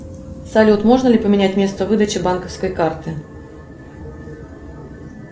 салют можно ли поменять место выдачи банковской карты